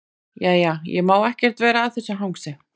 Jæja, ég má ekkert vera að þessu hangsi.